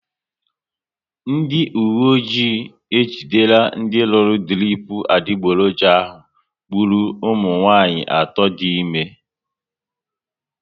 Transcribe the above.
Ndị uwe ọjị ejidere ndị rụrụ dirip adiboroja ahụ gburu ụmụnwanyị atọ dị ime